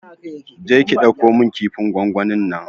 Je ki ki ɗauko min kifin gwangwanin nan!